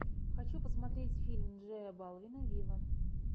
хочу посмотреть фильм джея балвина виво